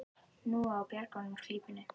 Nú á að bjarga honum úr klípunni.